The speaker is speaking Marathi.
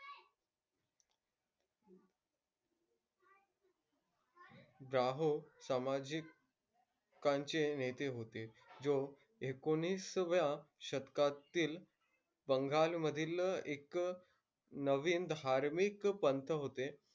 राहों सामाजिक कांचे नेते होते. व एकोणिसाव्या शतकातील बंगालमधील एक नवीन धार्मिक पंथ होते.